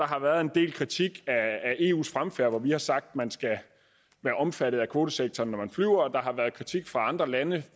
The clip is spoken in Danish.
har været en del kritik af eus fremfærd hvor vi har sagt at man skal være omfattet af kvotesektoren når man flyver og der har været kritik fra andre landes